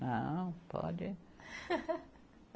Não, pode